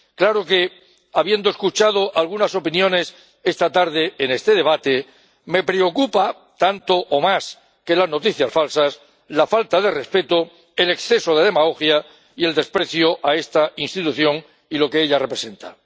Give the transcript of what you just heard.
Claro que, habiendo escuchado algunas opiniones esta tarde en este debate, me preocupan, tanto o más que las noticias falsas, la falta de respeto, el exceso de demagogia y el desprecio a esta Institución y lo que ella representa.